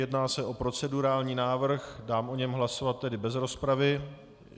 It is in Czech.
Jedná se o procedurální návrh, dám o něm hlasovat tedy bez rozpravy.